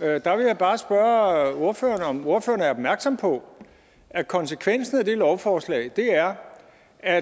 jeg vil bare spørge ordføreren om ordføreren er opmærksom på at konsekvensen af det lovforslag er at